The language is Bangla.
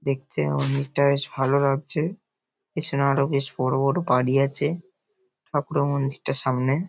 দেখতে অনেকটা বেশ ভালো লাগছে পেছনে আরও বেশ বড় বড় বাড়ি আছে। ঠাকুরের মন্দিরটা সামনে।